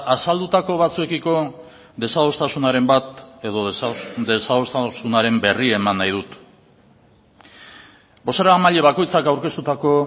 azaldutako batzuekiko desadostasunaren bat edo desadostasunaren berri eman nahi dut bozeramaile bakoitzak aurkeztutako